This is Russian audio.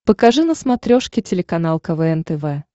покажи на смотрешке телеканал квн тв